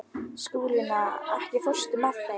Skúlína, ekki fórstu með þeim?